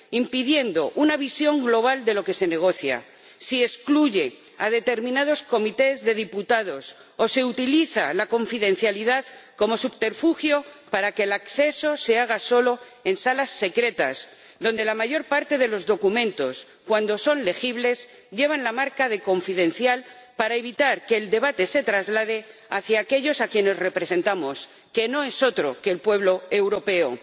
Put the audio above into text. impidiendo una visión global de lo que se negocia, si excluye a determinadas comisiones de diputados o se utiliza la confidencialidad como subterfugio para que el acceso se haga solo en salas secretas donde la mayor parte de los documentos, cuando son legibles, llevan la marca de confidencial para evitar que el debate se traslade hacia aquellos a quienes representamos, que no es otro que el pueblo europeo?